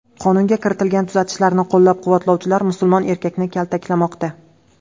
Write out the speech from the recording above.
Qonunga kiritilgan tuzatishlarni qo‘llab-quvvatlovchilar musulmon erkakni kaltaklamoqda.